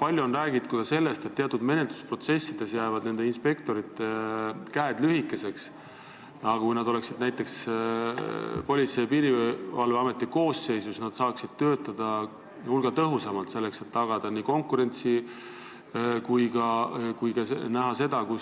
Palju on räägitud ka sellest, et teatud menetlusprotsessides jäävad inspektorite käed lühikeseks, aga kui nad oleksid näiteks Politsei- ja Piirivalveameti koosseisus, siis nad saaksid töötada hulga tõhusamalt, selleks et tagada nii konkurentsi kui ka näha, kui